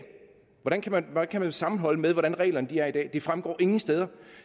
hvordan kan man kan man sammenholde med hvordan reglerne er i dag det fremgår ingen steder